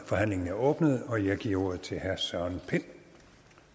forhandlingen er åbnet og jeg giver ordet til herre søren pind